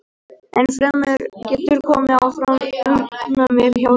Enn fremur getur komið fram ofnæmi hjá hundum.